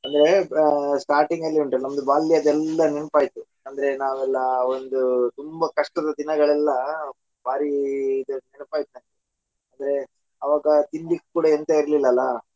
ಅಂದ್ರೆ starting ಅಲ್ಲಿ ಉಂಟು ನಮ್ದು ಬಾಲ್ಯದೆಲ್ಲಾ ನೆನಪಾಯ್ತು ಅಂದ್ರೆ ನಾವೆಲ್ಲಾ ಒಂದು ತುಂಬಾ ಕಷ್ಟದ ದಿನಗಳೆಲ್ಲ ಭಾರಿ ಅಂದ್ರೆ ಅವಾಗ ತಿನ್ಲಿಕ್ ಕೂಡಾ ಎಂತ ಇರ್ಲಿಲ್ಲ ಅಲ್ಲಾ .